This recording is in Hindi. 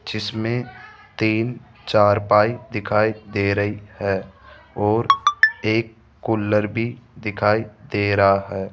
जिसमें तीन चार पाई दिखाई दे रही है और एक कूलर भी दिखाई दे रहा है।